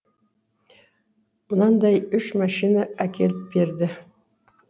мынандай үш машина әкеліп берді